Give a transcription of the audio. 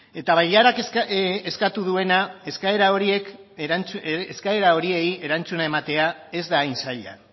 eta bailarak eskatu duena eskaera horiei erantzuna ematea ez da hain zaila